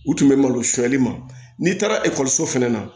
U tun bɛ malo suɲɛli ma n'i taara ekɔliso fɛnɛ na